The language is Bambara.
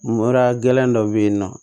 Mura gɛlɛn dɔ bɛ yen nɔ